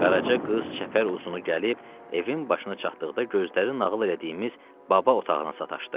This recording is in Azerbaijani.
Qaraca qız çəpər uzunu gəlib evin başına çatdıqda gözləri nağıl etdiyimiz baba otağına sataşdı.